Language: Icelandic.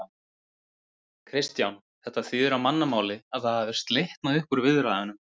Kristján: Þetta þýðir á mannamáli að það hafi slitnað upp úr viðræðum?